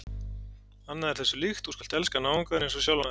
Annað er þessu líkt: Þú skalt elska náunga þinn einsog sjálfan þig.